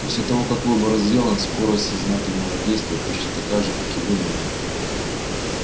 после того как выбор сделан скорость сознательного действия почти такая же как и вынужденного